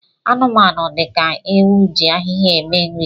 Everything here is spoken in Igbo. Anụmanụ dị ka ewu ji ahịhịa eme nri